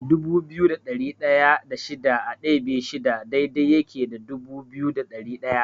Dubu biyu da ɗari ɗaya da shida a ɗebe shida daidai yake da dubu biyu da ɗari ɗaya.